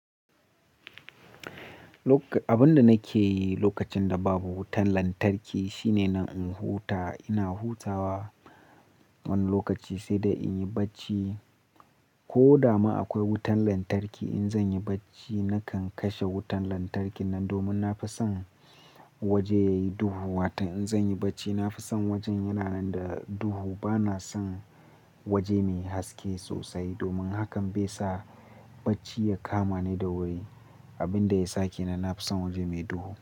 Abin da nake yi lokacin da babu wutar lantarki shine na huta. Ina hutawa wani lokaci sai dai in yi bacci. Ko da ma akwai wutar lantarki in zan yi bacci nakan kashe wutar lantarkin nan domin na fi son waje yayi duhu. Wata in zan yi bacci na fi son wajen yana nan da duhu. Ba na son waje me haske sosai domin hakan bai sa bacci ya kama ni da wuri. Abin da yasa kenan na fi son waje mai duhu.